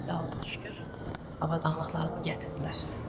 Allaha şükür avadanlıqlarımı gətirdilər.